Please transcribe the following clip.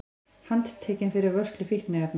Handtekinn fyrir vörslu fíkniefna